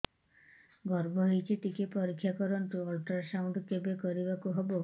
ଗର୍ଭ ହେଇଚି ଟିକେ ପରିକ୍ଷା କରନ୍ତୁ ଅଲଟ୍ରାସାଉଣ୍ଡ କେବେ କରିବାକୁ ହବ